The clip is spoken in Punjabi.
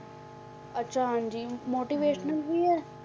ਅੱਛਾ ਹਾਂਜੀ motivational ਵੀ ਹੈ,